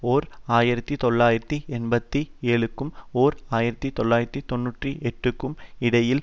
ஓர் ஆயிரத்தி தொள்ளாயிரத்து எண்பத்தி ஏழுக்கும் ஓர் ஆயிரத்தி தொள்ளாயிரத்து தொன்னூற்றி எட்டுக்கும் இடையில்